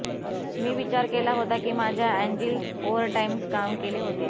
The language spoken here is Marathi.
मी विचार केला होता की मी माझ्या अँजिल्स ओव्हरटाईम काम केले होते